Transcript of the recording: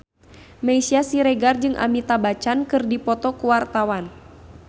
Meisya Siregar jeung Amitabh Bachchan keur dipoto ku wartawan